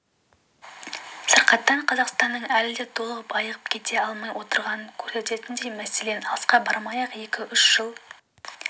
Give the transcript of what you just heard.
сырқаттан қазақстанның әлі де толық айығып кете алмай отырғанын көрсететіндей мәселен алысқа бармай-ақ екі-үш жыл